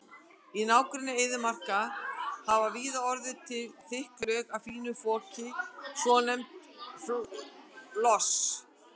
Í nágrenni eyðimarka hafa víða orðið til þykk lög af fínu foki, svonefndum löss.